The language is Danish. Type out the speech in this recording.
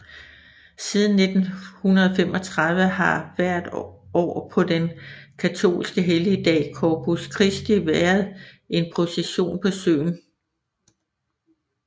Siden 1935 har der hvert år på den katolske helligdag Corpus Christi væeret en procession på søen